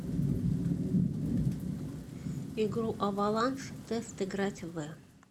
игру аваланж тест играть в